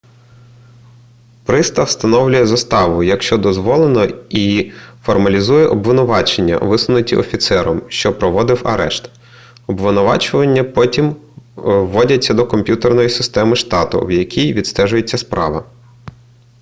пристав встановлює заставу якщо дозволено і формалізує обвинувачення висунуті офіцером що проводив арешт обвинувачення потім вводяться до комп'ютерної системи штату в якій відстежується справа